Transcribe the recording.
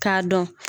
K'a dɔn